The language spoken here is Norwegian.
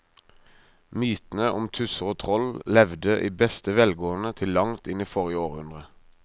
Mytene om tusser og troll levde i beste velgående til langt inn i forrige århundre.